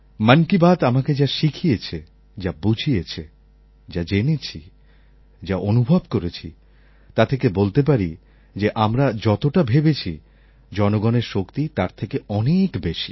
মন কি বাত আমাকে যা শিখিয়েছে যা বুঝিয়েছে যা জেনেছি যা অনুভব করেছি তা থেকে বলতে পারি যে আমরা যতটা ভেবেছি জনগণের শক্তি তার থেকে অনেক বেশি